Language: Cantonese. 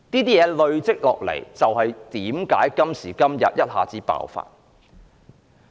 這些問題一直累積，因此，今時今日一下子爆發。